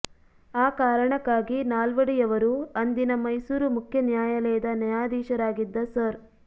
ಆ ಕಾರಣಕ್ಕಾಗಿ ನಾಲ್ವಡಿಯವರು ಅಂದಿನ ಮೈಸೂರು ಮುಖ್ಯ ನ್ಯಾಯಾಲಯದ ನ್ಯಾಯಾಧೀಶರಾಗಿದ್ದ ಸರ್